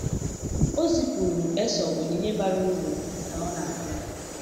O zipụrụ Esau onyinye bara uru ka ọ na-abịa.